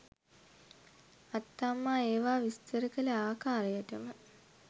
අත්තම්මා ඒවා විස්තර කළ ආකාරයටම